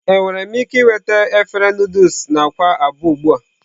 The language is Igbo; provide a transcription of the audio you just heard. Enwere m ike ịnweta efere Nụdụls na akwa abụọ ugbu a?